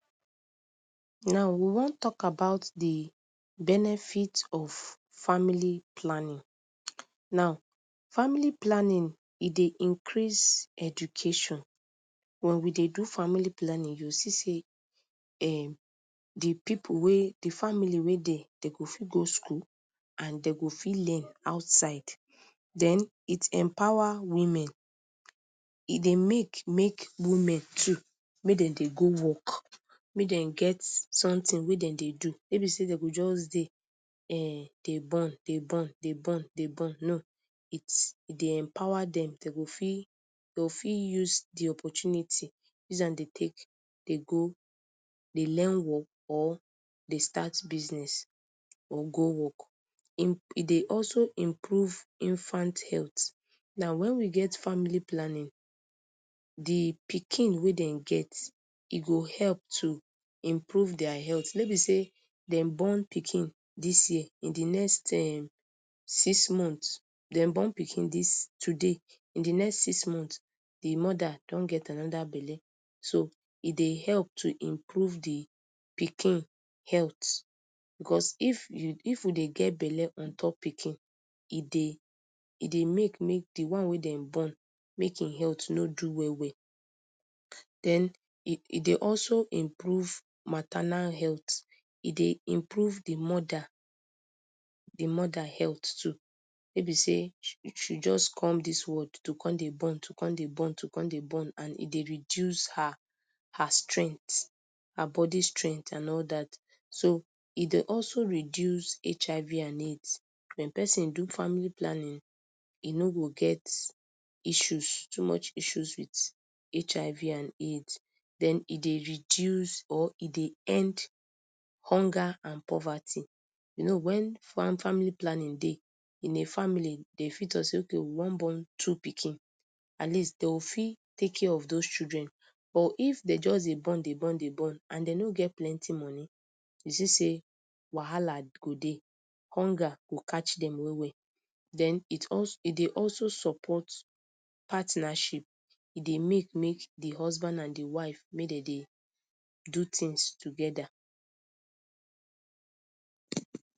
Now we wan tok about di benefit of family planning. Now, family planning, e dey increase education. Wen we dey do family planning, you see say um di pipu wey, di family wey dey, dey go fit go school, and dey go fit learn outside. Den, it empower women. E dey mek, mek women too, mek dem dey go work. Mek dem get someting wey dem dey do. Wey be say de go Jus dey, um dey born, dey born, dey born, dey born. No, it e dey empower dem, de go fit, de go fit use di opportunity, use am de tek, de go, de learn work, or dey start business, or go work. E dey also improve infant health. Now, wen we get family planning, di pikin wey dem get, e go hep to improve dia healt. No be say dem born pikin dis year, in di next, um six months, dem born pikin dis today, in di next six months, di moda don get anoda belle. So, e dey help to improve di pikin healt. Becos if you, if we dey get belle on top pikin, e dey, e dey mek, mik di one wey den born, mek en health no do well well. Den, e dey also improve maternal healt. E dey improve di moda, di moda healt too. Wey be say she jus come dis world, to come dey born, to come dey born, to come dey born and e dey reduce her, her strengt. Her body strengt and all dat. So, e dey also reduce HIV and AIDS. Wen person do family planning, e no go get issues, too much issues with HIV and AIDS. Den e dey reduce, or e dey end hunger and poverty. You know, wen fam family planning dey, in a family, de fit tok say okay, we wan born two pikin. At least de go fit tek care of those children. But if dem just dey born, dey born, dey born, and dey no get plenty money. You see say wahala go dey. Hunga go catch dem well well. Den it also e dey also support partnership. E dey mek, mek di husband and di wife, mek dem dey do tings togeda.